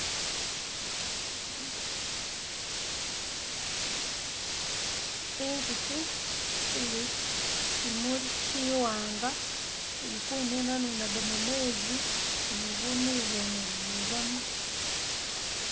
Inzuki ili ku kimuli kiwaanga, ili kununanunagamu meezi ni bunulu bwene bubamu.